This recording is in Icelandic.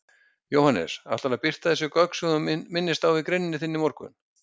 Jóhannes: Ætlarðu að birta þessi gögn sem þú minnist á í greininni þinni í morgun?